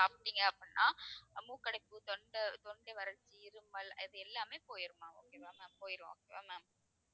சாப்பிட்டீங்க அப்படின்னா மூக்கடைப்பு தொண்டை தொண்டை வறட்சி இருமல் அது எல்லாமே போயிருமா okay வா ma'am போயிரும் okay வா ma'am